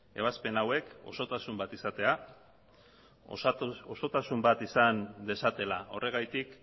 ebazpen hauek osotasun bat izatea osotasun bat izan dezatela horregatik